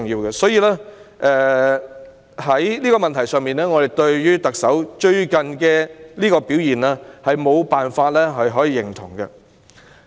因此，在這個問題上，我們對特首近日的表現無法予以認同。